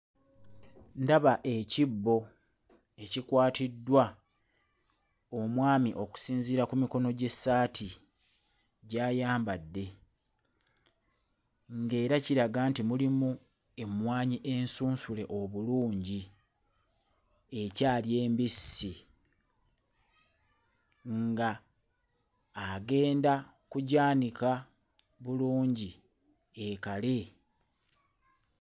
Ndaba ekibbo ekikwatiddwa omwami okusinziira ku mikono gy'essaati gy'ayambadde ng'era kiraga nti mulimu emmwanyi ensunsule obulungi ekyali embisi ng'agenda kugyanika bulungi ekale.